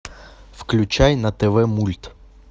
включай на тв мульт